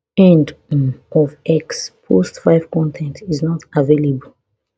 end um of x post five con ten t is not available